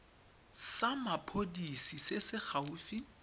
sa mapodisi se se gaufi